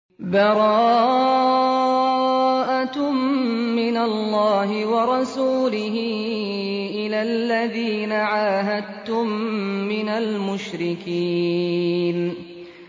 بَرَاءَةٌ مِّنَ اللَّهِ وَرَسُولِهِ إِلَى الَّذِينَ عَاهَدتُّم مِّنَ الْمُشْرِكِينَ